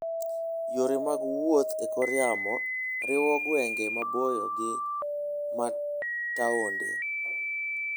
Yore mag wuoth e kor yamo riwo gwenge maboyo gi ma taonde.